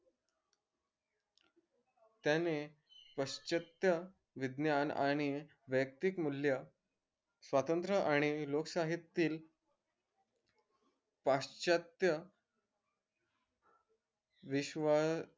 त्याने पाश्चत्य विद्यान आणि वैयक्तिक मूल्य स्वातंत्र आणि लोकशाही तील पाश्चत्य विश्व